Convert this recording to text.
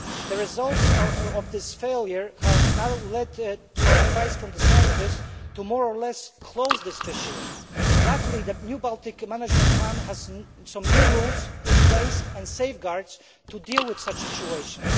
The results of this failure have now led to a piece of advice from the scientists more or less closing this fishery. Luckily, the new Baltic management plan has some new rules in place and safeguards to deal with such situations.